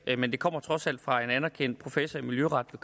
men det kommer trods alt fra en anerkendt professor i miljøret